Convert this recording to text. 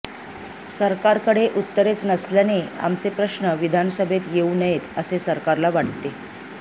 सरकारकडे उत्तरेच नसल्याने आमचे प्रश्नच विधानसभेत येऊ नयेत असे सरकारला वाटते